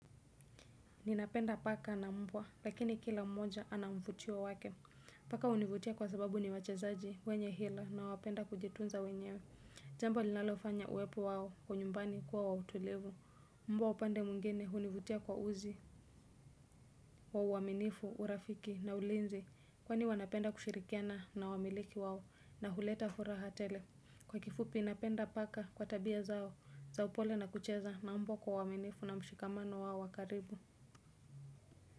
Ninapenda paka na mbwa lakini kila mmoja anamvutio wake. Paka hunivutia kwa sababu ni wachezaji wenye hila na wapenda kujitunza wenyewe. Jambo linalofanya uwepo wao kwa nyumbani kuwa wa utulivu. Mbwa upande mwingine hunivutia kwa uzi wa uaminifu, urafiki na ulinzi. Kwani wanapenda kushirikiana na wamiliki wao na huleta furaha tele. Kwa kifupi inapenda paka kwa tabia zao za upole na kucheza na mbwa kwa uaminifu na mshikamano wao wa karibu.